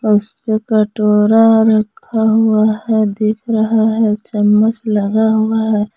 उसपे कटोरा रखा हुआ है दिख रहा है चम्मच लगा हुआ है।